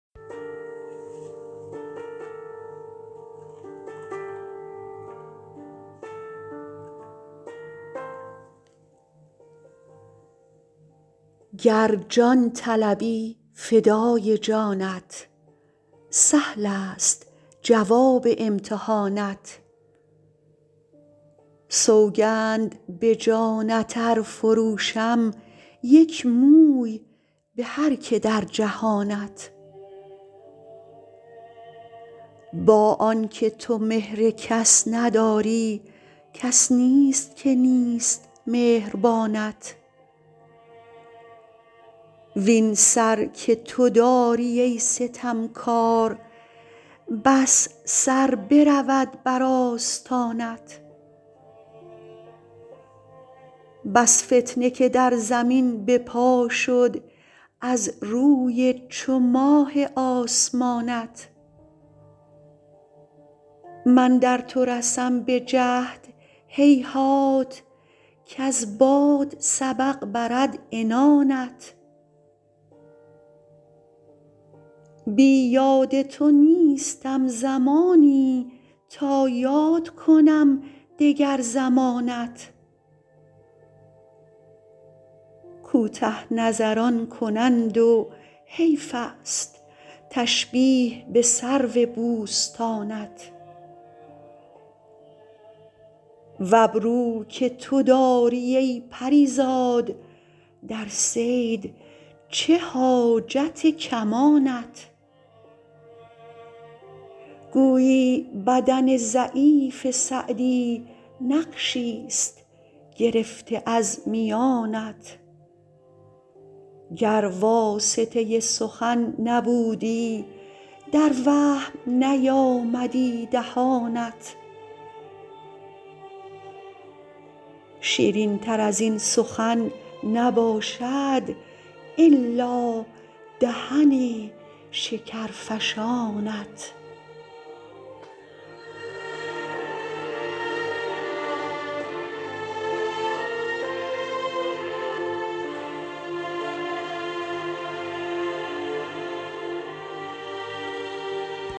گر جان طلبی فدای جانت سهلست جواب امتحانت سوگند به جانت ار فروشم یک موی به هر که در جهانت با آن که تو مهر کس نداری کس نیست که نیست مهربانت وین سر که تو داری ای ستمکار بس سر برود بر آستانت بس فتنه که در زمین به پا شد از روی چو ماه آسمانت من در تو رسم به جهد هیهات کز باد سبق برد عنانت بی یاد تو نیستم زمانی تا یاد کنم دگر زمانت کوته نظران کنند و حیفست تشبیه به سرو بوستانت و ابرو که تو داری ای پری زاد در صید چه حاجت کمانت گویی بدن ضعیف سعدی نقشیست گرفته از میانت گر واسطه سخن نبودی در وهم نیامدی دهانت شیرینتر از این سخن نباشد الا دهن شکرفشانت